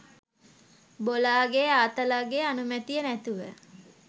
බොලාගෙ ආතලගෙ අනුමැතිය නැතුව